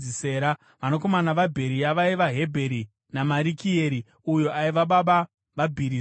Vanakomana vaBheria vaiva: Hebheri naMarikieri, uyo aiva baba vaBhirizaiti.